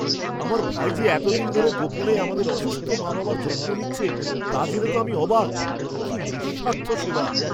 আমার ভাই যে এতদিন ধরে গোপনে আমাদের অসুস্থ মা বাবার যত্ন নিচ্ছে তা জেনে তো আমি অবাক! কি নিঃস্বার্থ সেবা!